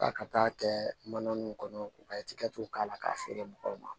A ka taa'a kɛ mana ninnu kɔnɔ u ka tikɛ k'a la k'a feere mɔgɔw ma